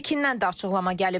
Pekindən də açıqlama gəlib.